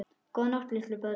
Góða nótt litlu börn.